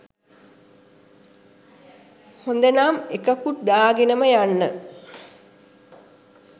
හොඳනම් එකකුත් දාගෙනම යන්න